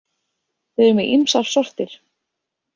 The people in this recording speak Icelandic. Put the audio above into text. Þau eru með ýmsar sortir.